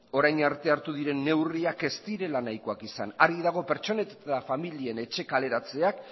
orain arte hartu diren neurriak ez direla nahikoak izan argi dago pertsonen eta familien etxe kaleratzeak